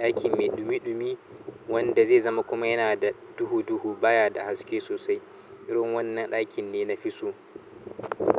Ɗaki mai ɗumi-ɗumi wanda zai zama kuma yana da duhu-duhu baya da haske sosai. Irin wannan ɗakin ne na fi so.